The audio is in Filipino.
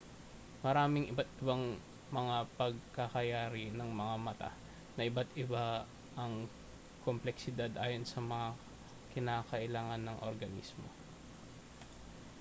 maraming iba't-ibang mga pagkakayari ng mga mata na iba't-iba ang kompleksidad ayon sa mga kinakailangan ng organismo